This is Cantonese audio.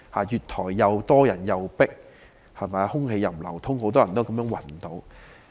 月台人多擠迫，空氣不流通，以致很多人暈倒。